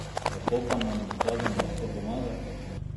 Kako pa nam dokazano lahko pomaga?